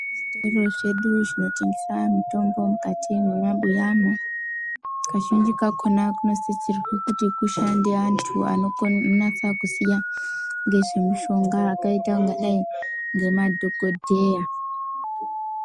Zvitoro zvedu zvinotengesa mitombo mukati mwemabuyani, kazhinji kakona kunosisirwe kuti kushande antu anonasa kuziya ngezvemushonga akaita kungadai ngemadhokodheya.